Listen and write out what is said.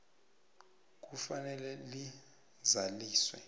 c kufanele lizaliswe